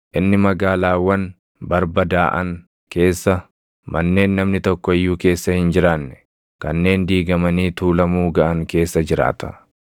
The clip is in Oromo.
inni magaalaawwan barbadaaʼan keessa, manneen namni tokko iyyuu keessa hin jiraanne, kanneen diigamanii tuulamuu gaʼan keessa jiraata.